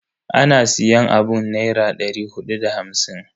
Ana siyan abun da Naira dari hudu da hamsin.